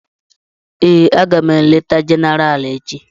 Èè, aga m eleta Jenéral echi